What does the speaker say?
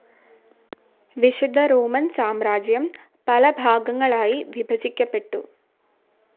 വിശുദ്ധ റോമൻ സാമ്രാജ്യം പലഭാഗങ്ങളായി വിഭജിക്കപ്പെട്ടു.